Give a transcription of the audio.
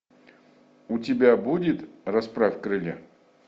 у тебя будет расправь крылья